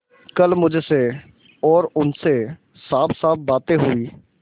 कल मुझसे और उनसे साफसाफ बातें हुई